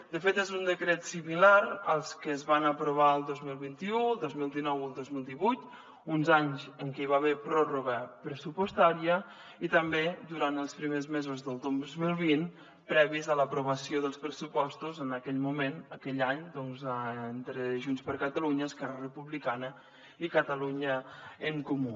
de fet és un decret similar als que es van aprovar el dos mil vint u el dos mil dinou o el dos mil divuit uns anys en què hi va haver pròrroga pressupostària i també durant els primers mesos del dos mil vint previs a l’aprovació dels pressupostos en aquell moment aquell any doncs entre junts per catalunya esquerra republicana i catalunya en comú